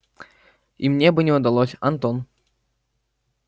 и мне бы не удалось антон